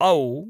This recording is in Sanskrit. औ